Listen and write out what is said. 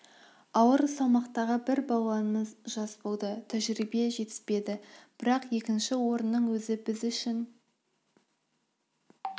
ауыр салмақтағы бір балуанымыз жас болды тәжірибе жетіспеді бірақ екінші орынның өзі де біз үшін